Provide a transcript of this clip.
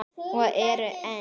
Og eru enn.